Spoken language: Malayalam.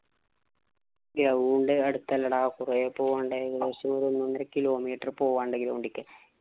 Ground അടുത്തല്ലടാ. കൊറേ പോവാണ്ട്. ഏകദേശം ഒരു ഒന്നൊന്നര kilometer പോവാ ഒണ്ട് ground ഇലേക്ക്.